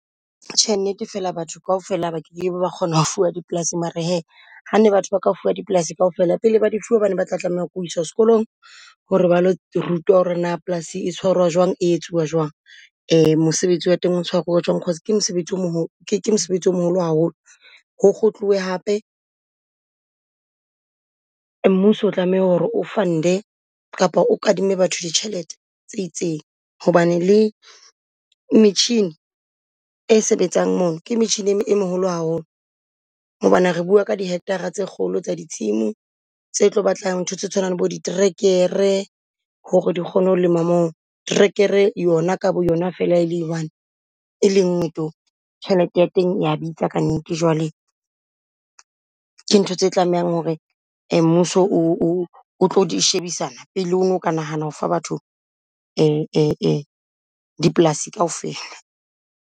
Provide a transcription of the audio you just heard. Tjhe, nnete fela batho kaofela ba kekebe ba kgona ho fuwa dipolasing mare hee, ha ne batho ba ka fuwa dipolasing kaofela pele ba di fuwa ba ne ba tla tlameha ho iswa skolong ho re ba lo rutwa ho re na polasing e tshwarwa jwang e etsuwa jwang? Mosebetsi wa teng o tshwaruwa jwang cause ke mosebetsi o , ke ke mosebetsi o moholo haholo. Ho kgutluwe hape, mmuso o tlameha ho re o fund-e kapa o kadime batho ditjhelete tse itseng, hobane le metjhini e sebetsang mono ke metjhini e e meholo haholo. Hobane re bua ka dihekthara tse kgolo tsa di tshimo tse tlo batlang ntho tse tshwanang bo di tracker-e ho re di kgone ho lema moo, tracker-e yona ka bo yona fela e le one e lengwe to tjhelete ya teng ya bitsa ka nnete. Jwale ke ntho tse tlamehang ho re mmuso o o o tlo shebisana pele ono ka nahana o fa batho dipolasi kaofela.